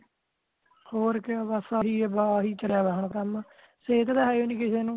ਹੋਰ ਕਯਾ ਬਸ ਆਹਿ ਚਲਿਆ ਹੋਯਾ ਅੱਜ ਕਲ ਸੇਹਤ ਦਾ ਹੈਯੋ ਨੀ ਕਿਸੇ ਨੂੰ